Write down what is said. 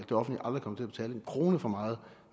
til at betale en krone for meget